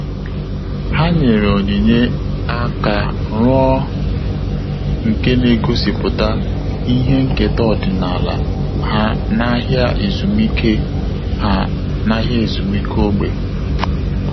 Há nyèrè onyinye áká rụọ nke nà-égósípụ́ta ihe nkèta ọ́dị́nála ha n’áhị́à ezumike ha n’áhị́à ezumike ógbè.